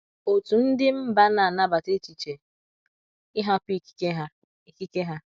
Otú ndi mba ,n'anabata echiche ịhapụ ikike ha. ikike ha.